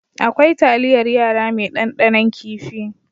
Akwai talyar yara mai dandanon kifi.